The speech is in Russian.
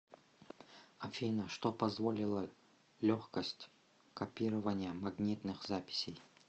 афина что позволила легкость копирования магнитных записей